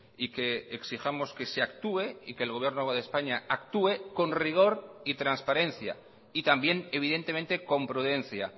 y que exijamos que se actúe y que el gobierno de españa actúe con rigor y transparencia y también evidentemente con prudencia